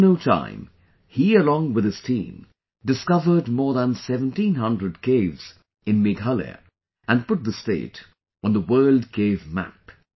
Within no time, he along with his team discovered more than 1700 caves in Meghalaya and put the state on the World Cave Map